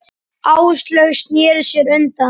Áslaug sneri sér undan.